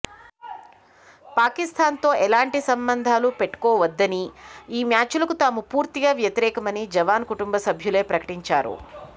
పాకిస్తాన్తో ఎలాంటి సంబంధాలు పెట్టుకోవద్దని ఈమ్యాచ్కు తాము పూర్తిగా వ్యతిరేకమని జవాన్ కటుంబ సభ్యులె ప్రకటించారు